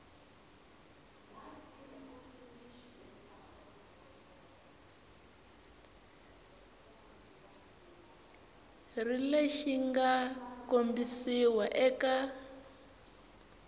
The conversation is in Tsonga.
ri lexi mga kombisiwa eka